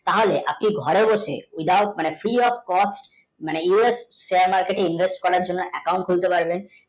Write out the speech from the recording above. তা হলে আপনি ঘরে বসে edaout মানে free of মানে us market invest করার জন্যে account খুলতে পারবেন